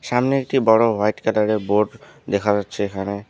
সামনে একটি বড় হোয়াইট কালারের বোর্ড দেখা যাচ্ছে এখানে।